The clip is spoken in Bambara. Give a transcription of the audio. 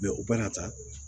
u bena taa